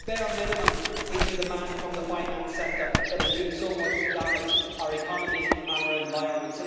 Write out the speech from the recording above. it's the bare minimum we can demand from the finance sector that is doing so much to damage our economy and our environment.